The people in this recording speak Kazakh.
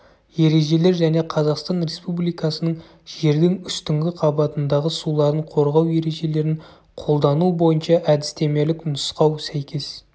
ережелер және қазақстан республикасының жердің үстіңгі қабатындағы суларын қорғау ережелерін қолдану бойынша әдістемелік нұсқау сәйкес